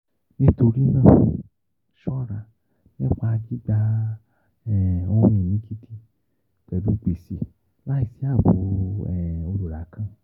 Nítorí náà, ṣọra nipa gbigba um ohun-ini gidi pẹlu gbese laisi aabo um olura kan.